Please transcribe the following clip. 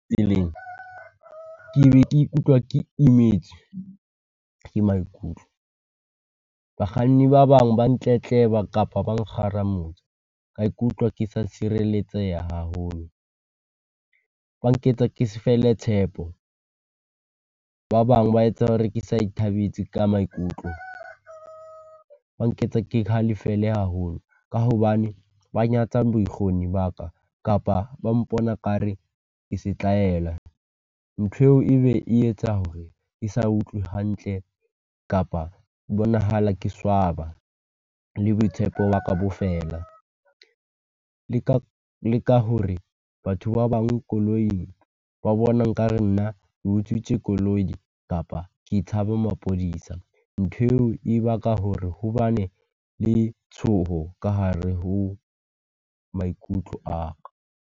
ke ne ke ikutlwa ke imetswe ke maikutlo. Bakganni ba bang ba ntletleba kapa ba nkgarametsa. Ka ikutlwa ke sa sireletseha haholo, ba nketsa ke se fele tshepo. Ba bang ba etsa hore ke sa ithabetse ka maikutlo, ba nketsa ke halefile haholo. Ka hobane ba nyatsa bokgoni ba ka kapa ba mpona kare ke setlaela. Ntho eo ebe e etsa hore ke sa utlwe hantle kapa ho bonahala ke swaba. Le boitshepo ba ka bo feela, le ka le ka hore batho ba bang koloing ba bona nkare nna utswitswe koloi kapa ke tshaba mapodisa. Ntho eo e baka hore ho bane le tshoho ka hare ho maikutlo a ka.